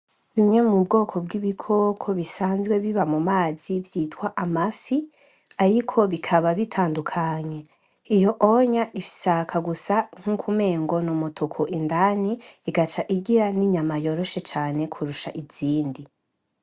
Bimwe mu bwoko b'ibikoko bisanzwe biba mu mazi vyitwa amafi. Ariko bikaba bitandukanye. Iyo ishaka gusa nk'uko umengo ni umutuku indani igaca igira n'inyama yoroshe cane kurusha izindi.